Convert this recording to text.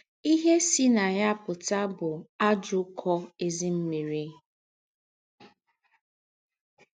Íhe sì ná ya pụ́tà bụ́ àjọ́ ụ́kọ́ ézím̀mị́rì.